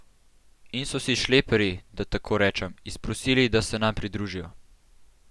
In so si šleperji, da tako rečem, izprosili, da se nam pridružijo.